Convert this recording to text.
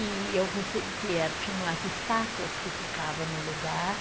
E eu recebi que era, tinham as estátuas que ficavam no lugar.